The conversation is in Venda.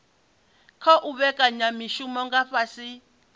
khou vhekanya mishumo nga fhasi